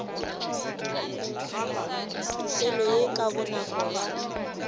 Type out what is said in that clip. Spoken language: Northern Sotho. tokelo ye ka bonako ya